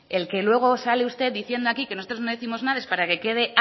el que luego sale usted diciendo aquí que nosotros no décimos nada es para que quede